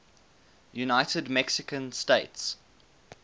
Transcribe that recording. united mexican states